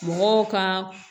Mɔgɔw ka